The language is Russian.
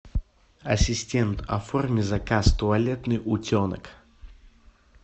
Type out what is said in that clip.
ассистент оформи заказ туалетный утенок